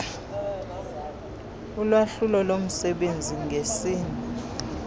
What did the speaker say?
ulwahlulo lomsebenzi ngesini